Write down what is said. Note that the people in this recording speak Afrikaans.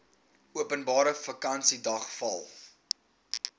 openbare vakansiedag val